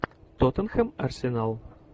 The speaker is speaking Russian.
тоттенхэм арсенал